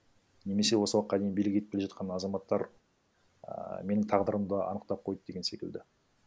немесе осы уақытқа дейін билік етіп келе жатқан азаматтар ііі менің тағдырымды анықтап қойды деген секілді